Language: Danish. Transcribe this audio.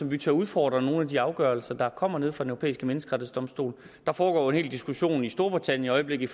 vi tør udfordre nogle af de afgørelser der kommer nede fra den europæiske menneskerettighedsdomstol der foregår hel diskussion i storbritannien i øjeblikket